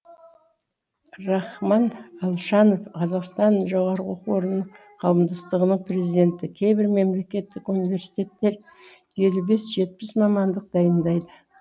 рахман алшанов қазақстан жоғарғы оқу орнының қауымдастығының президенті кейбір мемлекеттік университеттер елу бес жетпсі мамандық дайындайды